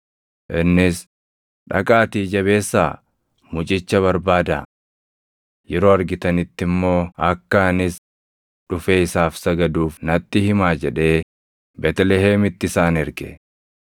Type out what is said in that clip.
Innis, “Dhaqaatii jabeessaa mucicha barbaadaa. Yeroo argitanitti immoo akka anis dhufee isaaf sagaduuf natti himaa” jedhee Beetlihemitti isaan erge.